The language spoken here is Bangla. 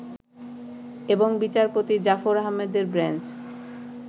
এবং বিচারপতি জাফর আহমেদের বেঞ্চ